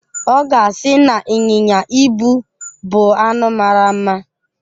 Ọ ga-asị na ịnyịnya ibu bu anụ mara mma.